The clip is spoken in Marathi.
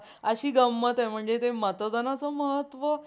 अशी गंमत हाय म्हणजे ते मतदानाचं महत्तव